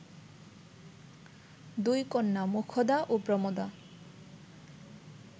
দুই কন্যা মোক্ষদা ও প্রমদা